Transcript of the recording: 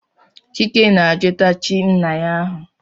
Chike na-ajụta chi nna ya ahụ.